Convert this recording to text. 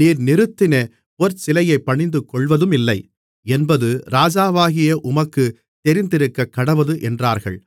நீர் நிறுத்தின பொற்சிலையைப் பணிந்துகொள்வதுமில்லை என்பது ராஜாவாகிய உமக்குத் தெரிந்திருக்கக்கடவது என்றார்கள்